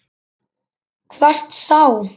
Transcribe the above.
Hvert þá?